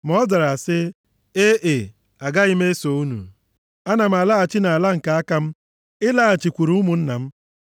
Ma ọ zara sị, “E e, agaghị m eso unu. Ana m alaghachi nʼala nke aka m ịlaghachikwuru ụmụnna m.”